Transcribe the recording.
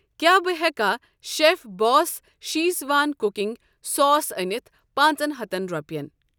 کیٛاہ بہٕٕ ہٮ۪کا chef boss Schezwan cooking sauce أنِتھ پانٛژ ن ہتن رۄپٮ۪ن۔